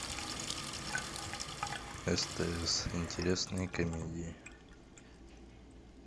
стс интересные комедии